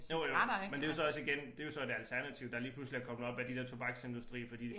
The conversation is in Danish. Jo jo men det jo så også igen det jo så et alternativ der lige pludselig er kommet op af de der tobaksindustri fordi